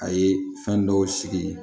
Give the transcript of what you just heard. A ye fɛn dɔw sigi